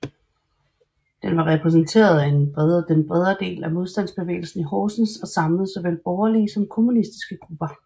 Den var repræsenteret af den bredere del af modstandsbevægelsen i Horsens og samlede såvel borgerlige som kommunistiske grupper